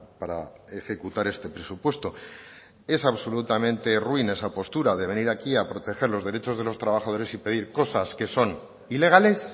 para ejecutar este presupuesto es absolutamente ruin esa postura de venir aquí a proteger los derechos de los trabajadores y pedir cosas que son ilegales